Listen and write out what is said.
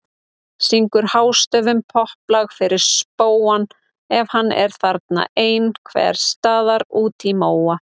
Syngur hástöfum popplag fyrir spóann ef hann er þarna ein- hvers staðar úti í móa.